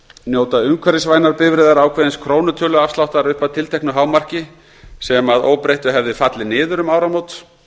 njóta umhverfisvænar bifreiðar ákveðins krónutöluafsláttar upp að tilteknu hámarki sem að óbreyttu hefði fallið niður um áramót